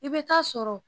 I bɛ taa sɔrɔ